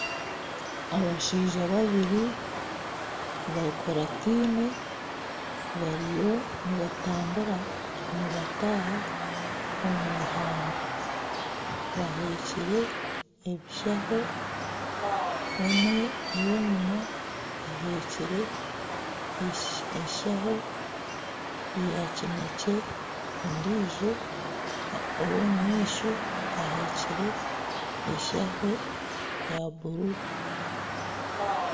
Abashaija babiri bakurateine bariyo nibatambura nibataha omwihamba bahekyire ebishaho. Omwe ow'enyima ahekire enshaho ya kinekye ondiijo ow'omu maisho ahekyire enshaho eya bururu.